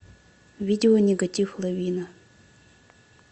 видео нигатив лавина